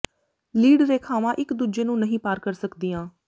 lead ਰੇਖਾਵਾਂ ਇਕ ਦੂਜੇ ਨੂੰ ਨਹੀਂ ਪਾਰ ਕਰ ਸਕਦੀਆਂ